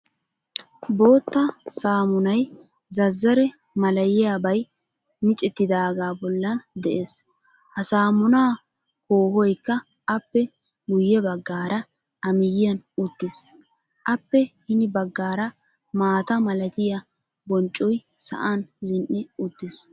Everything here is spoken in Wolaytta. Bootta saamunay zazzare malayiyabay micettidaagaa bollan de'ees. Ha saamumaa koohoykka appe guyyebaggaara a miyyiyan uttiis. appe hini baggaara maatamalatiya bonccoy sa'an zin''i uttiis.